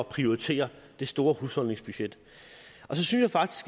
at prioritere det store husholdningsbudget så synes